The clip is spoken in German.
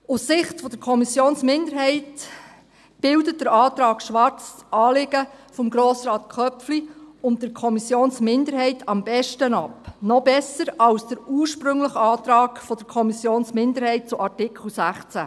Aus Sicht der Kommissionsminderheit bildet der Antrag Schwarz das Anliegen von Grossrat Köpfli und der Kommissionsminderheit am besten ab, noch besser als der ursprüngliche Antrag der Kommissionsminderheit zu Artikel 16.